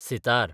sitar